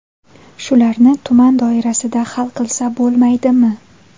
Shularni tuman doirasida hal qilsa bo‘lmaydimi?